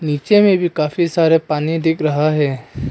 नीचे में भी काफी सारे पानी दिख रहा है।